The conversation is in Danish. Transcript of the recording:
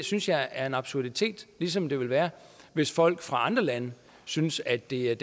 synes jeg er en absurditet ligesom det vil være hvis folk fra andre lande synes at det er